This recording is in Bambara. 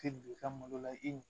Tɛ don i ka malo la i n'u